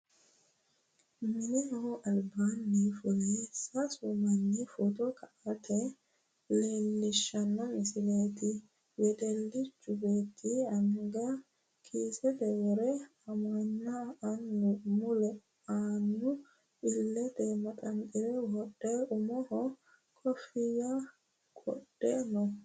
Mineho albaanni fule sasu manni footo ka'nota leellishshanno misileeti. Wedellichu beetti anga kiisete wore amanna annu mule annu illete manaxxire wodhe umoho koofiyya qodhe no.